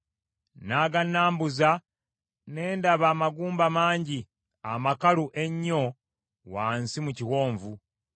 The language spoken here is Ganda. N’agannaambuza, ne ndaba amagumba mangi, amakalu ennyo wansi mu kiwonvu.